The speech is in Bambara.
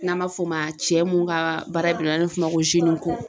N'an m'a f'o ma cɛ mun ka baara n'an f'o ma ko